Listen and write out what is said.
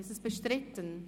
Ist das bestritten?